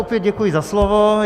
Opět děkuji za slovo.